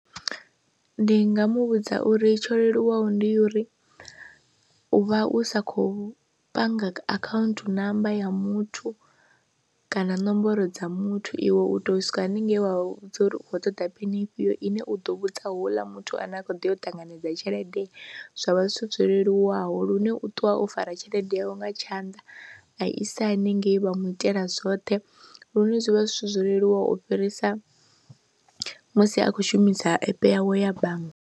Ndi nga mu vhudza uri tsho leluwaho ndi ya uri u vha u sa kho panga akhaunthu namba ya muthu kana nomboro dza muthu iwe u tou swika haningei wa vha vhudza uri u u ṱoḓa phini ifhio ine u ḓo vhudza houḽa muthu ane a khou ḓi ya u ṱanganedza tshelede, zwa vha zwithu zwo leluwaho lune u ṱuwa o fara tshelede yawe nga tshanḓa a i sa haningei vha mu itela zwoṱhe lune zwi vha zwithu zwo leluwaho u fhirisa musi a khou shumisa app yawe ya bannga.